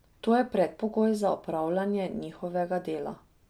To je predpogoj za opravljanje njihovega dela.